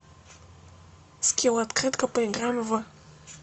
скилл открытка поиграем в